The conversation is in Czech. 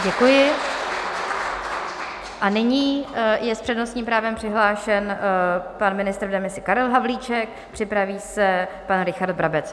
Děkuji a nyní je s přednostním právem přihlášen pan ministr v demisi Karel Havlíček, připraví se pan Richard Brabec.